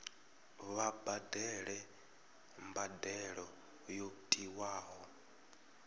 vha badele mbadelo yo tiwaho